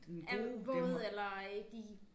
Er våd eller øh de